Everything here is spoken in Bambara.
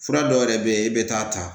Fura dɔw yɛrɛ bɛ yen i bɛ taa ta